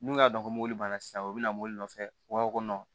N'u y'a dɔn ko mobili banna sisan u bɛ na mobili nɔfɛ u b'a fɔ ko